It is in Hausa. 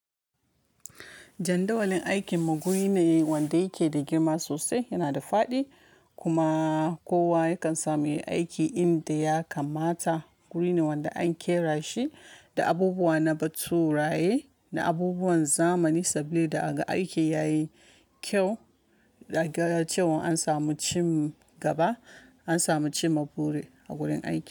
Jandawalin aikin mu guri ne wanda yake da girma sosai yana da faɗi kuma kowa yakan samu yi aikin inda ya kamata. Guri ne wanda an ƙera shi da abubuwa na baturaye da abubuwan zamani saboda a ga aikin yayi kyau. Da ga cewan an samu cin gaba an samu cimma buri a gurin aiki.